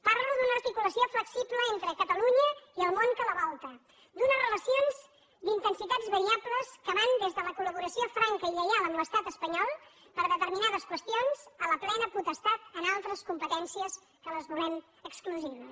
parlo d’una articulació flexible entre catalunya i el món que la volta d’unes relacions d’intensitats variables que van des de la col·laboració franca i lleial amb l’estat espanyol per a determinades qüestions a la plena potestat en altres competències que les volem exclusives